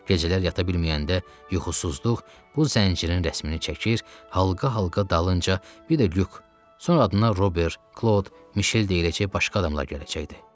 Gecələr yata bilməyəndə yuxusuzluq bu zəncirin rəsmini çəkir, halqa-halqa dalınca bir də Lük, sonra adına Robert, Klod, Mişel deyiləcək başqa adamlar gələcəkdi.